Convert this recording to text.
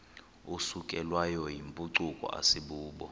isukelwayo yimpucuko asibubo